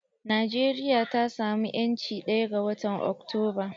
Najeriya ta samu 'yanci ɗaya ga watan Oktoba.